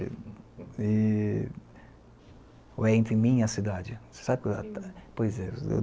E ou é entre mim e a cidade. Você sabe que, pois é